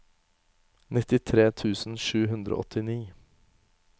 nittitre tusen sju hundre og åttini